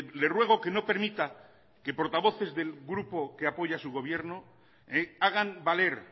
le ruego que no permita que portavoces del grupo que apoya a su gobierno hagan valer